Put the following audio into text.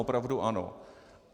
Opravdu ano.